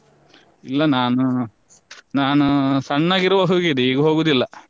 ಇಲ್ಲ ನಾನು ನಾನು ಸಣ್ಣಗಿರುವಾಗ ಹೋಗಿದ್ದೆ ಈಗ ಹೋಗುದಿಲ್ಲ.